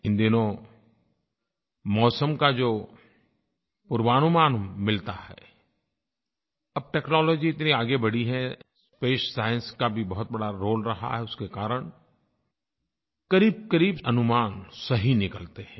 इन दिनों मौसम का जो पूर्वानुमान मिलता है अब टेक्नोलॉजी इतनी आगे बढ़ी है स्पेस साइंस का भी बहुत बड़ा रोले रहा है उसके कारण क़रीबक़रीब अनुमान सही निकलते हैं